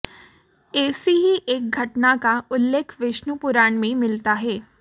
ऐसी ही एक घटना का उल्लेख विष्णु पुराण में मिलता है